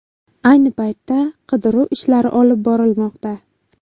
Ayni paytda qidiruv ishlari olib borilmoqda.